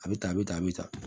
A bɛ tan a bɛ tan a bɛ tan